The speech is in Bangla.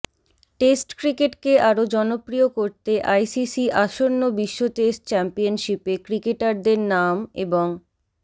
টেস্ট ক্রিকেটকে আরও জনপ্রিয় করতে আইসিসি আসন্ন বিশ্ব টেস্ট চ্যাম্পিয়নশিপে ক্রিকেটারদের নাম এবং